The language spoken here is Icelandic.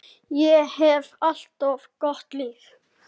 Ég hef átt gott líf.